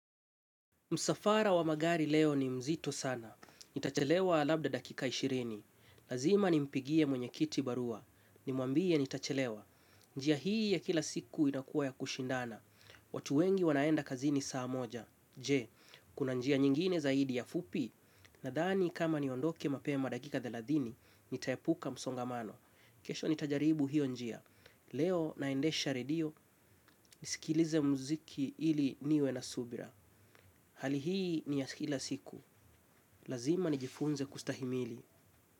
Msafara wa magari leo ni mzito sana. Nitachelewa labda dakika ishirini. Lazima nimpigie mwenyekiti barua. Nimwambie nitachelewa. Njia hii ya kila siku inakuwa ya kushindana. Watu wengi wanaenda kazini saa moja. Je, kuna njia nyingine zaidi ya fupi. Nadhani kama niondoke mapema dakika thelathini, nitaepuka msongamano. Kesho nitajaribu hiyo njia. Leo naendesha redio. Nisikilize muziki ili niwe na subira. Hali hii ni ya kila siku. Lazima nijifunze kustahimili.